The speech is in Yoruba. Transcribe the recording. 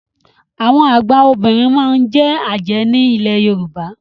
Àwọn àgba Obìnrin máa n je Aje ní ilẹ̀ Yorùbá.